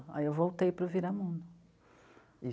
Aí eu voltei para o Viramundo. E...